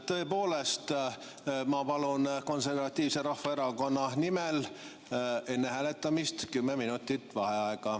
Tõepoolest, ma palun Konservatiivse Rahvaerakonna nimel enne hääletamist kümme minutit vaheaega.